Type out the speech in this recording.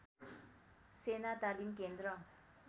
सेना तालिम केन्द्र